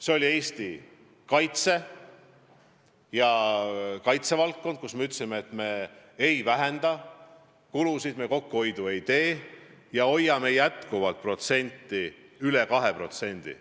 Need on Eesti kaitse, kaitsevaldkond, kus me kulusid ei vähenda, kokkuhoidu ei tee ja hoiame selle näitaja endiselt üle 2%.